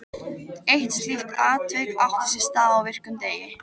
Eitt slíkt atvik átti sér stað á virkum degi.